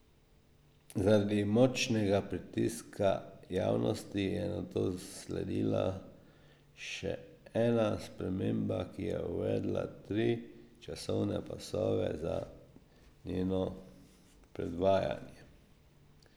Zaradi močnega pritiska javnosti je nato sledila še ena sprememba, ki je uvedla tri časovne pasove za njeno predvajanje.